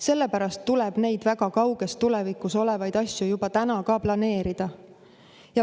Samas tuleb neid väga kauges tulevikus olevaid asju juba täna planeerida.